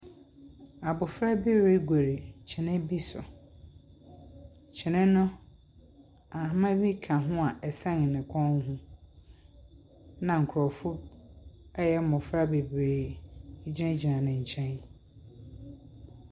Abofra bi regori kyene bi so. Kyene no ahoma bi ka ho a ɛsɛn ne kɔn ho. Na nkrɔfoɔ a ɛyɛ mmofra bebree gyinagyina nenkyɛn.